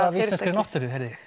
af íslenskri náttúru heyrði